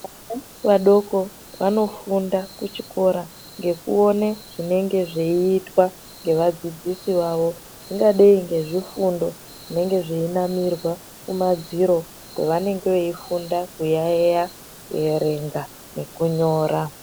Vana vadoko vanofunda kuchikora ngekuone zvinenge zveitwa ngevadzidzisi vawo ingadei ngezvifundo zvinenge zveinamirwa kumadziro kwevanenge veifunda kuyaiya kuerenga nekunyora.